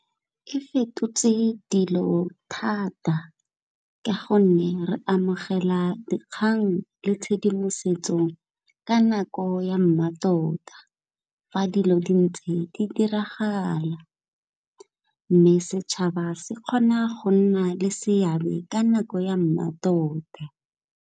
E fetotse dilo thata ka gonne re amogela dikgang le tshedimosetso ka nako ya mmatota, fa dilo di ntse di diragala mme setšhaba se kgona go nna le seabe ka nako ya mmatota.